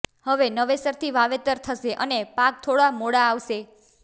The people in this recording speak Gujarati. હવે નવેસરથી વાવેતર થશે અને પાક થોડા મોડા આવશે